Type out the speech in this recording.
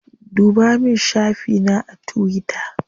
Ɗuba min shafi na a tuwita.